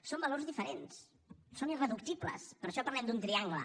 són valors diferents són irreductibles per això parlem d’un triangle